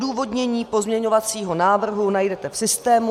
Odůvodnění pozměňovacího návrhu najdete v systému...